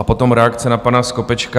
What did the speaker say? A potom reakce na pana Skopečka.